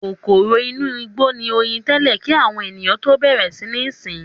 Kòkòrò inú igbó ni oyin tẹ́lẹ̀ kí àwọn ènìyàn tó bẹ̀rẹ̀ sí ní sìn ín.